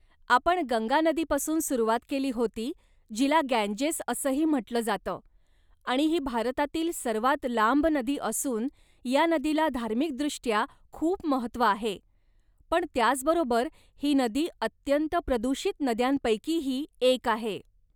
आपण गंगा नदीपासून सुरुवात केली होती जिला गँजेस असंही म्हटलं जातं, आणि ही भारतातील सर्वात लांब नदी असून या नदीला धार्मिकदृष्ट्या खूप महत्त्व आहे, पण त्याचबरोबर ही नदी अत्यंत प्रदूषित नद्यांपैकीही एक आहे.